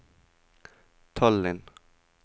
Tallinn